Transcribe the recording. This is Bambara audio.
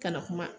Ka na kuma